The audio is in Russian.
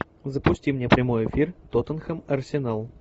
запусти мне прямой эфир тоттенхэм арсенал